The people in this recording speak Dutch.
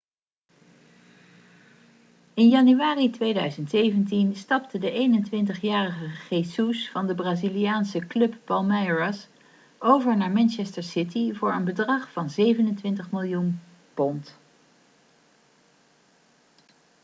in januari 2017 stapte de 21-jarige jesus van de braziliaanse club palmeiras over naar manchester city voor een bedrag van £ 27 miljoen